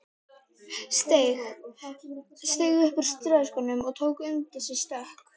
Steig upp úr strigaskónum og tók undir sig stökk.